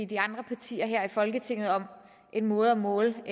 de andre partier her i folketinget om en måde at måle den